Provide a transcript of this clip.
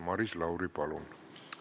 Maris Lauri, palun!